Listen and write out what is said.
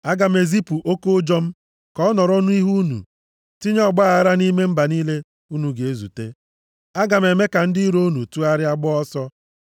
“Aga m ezipu oke ụjọ m ka ọ nọrọ unu nʼihu tinye ọgbaaghara nʼime mba niile unu ga-ezute. Aga m eme ka ndị iro unu tụgharịa gbaa ọsọ.